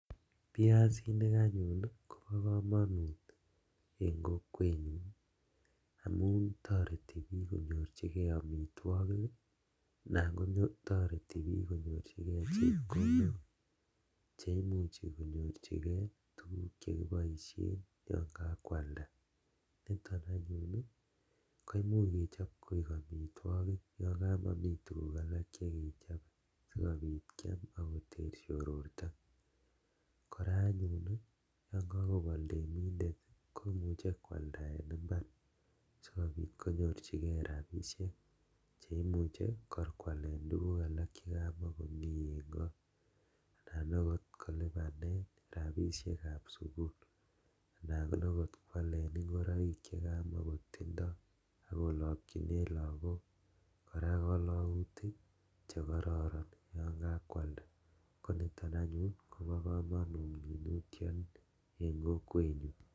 Biasinik anyun kobokomonut en kokwenyun amun toreti kenyorchikee amitwokik anan kotoreti temiik konyor chepkondok cheimuchi konyorchikee tukuk chekiboishen yoon kakwalda niton anyun koimuuch kechop koik amitwokik yoon komomii tukuk alak chekechobe sikobiit keter siororto, kora anyun yoon kokobol temindet komuche kwalda en imbar sikobit konyorchikee rabishek cheimuche kor kwalen tukuk alak chekamokomii anan okot kolibanen rabishekab sukul anan okot kwaleen ing'oroik chekamakotindo, akolokyinen kora lokok kolokutik chekororon yoon kakwal, koniton anyun kobo komonut en kokwenyun.